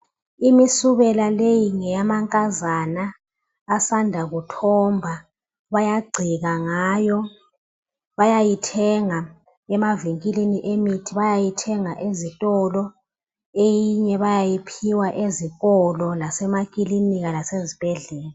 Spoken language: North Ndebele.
Imisubela leyi ngeyamankazana abasanda kuthomba bayagcela ngayo, bayayithenga emaventilini emithi, bayayithenga ezitolo eminye bayayiphiwa ezikolo lasema klinika lasezubhedlela.